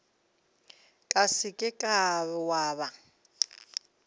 ka se ke wa ba